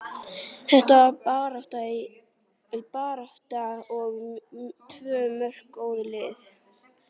Þetta var barátta og tvö mjög góð lið.